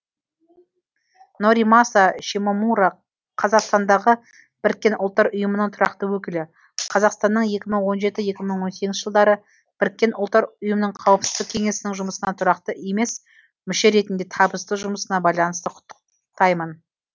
норимаса шимомура қазақстандағы біріккен ұлттар ұйымының тұрақты өкілі қазақстанның екі мың он жеті екі мың он сегізінші жылдары біріккен ұлттар ұйымының қауіпсіздік кеңесінің жұмысына тұрақты емес мүше ретінде табысты жұмысына байланысты құттықтаймын